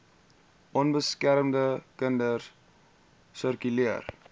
onbeskermde kinders sirkuleer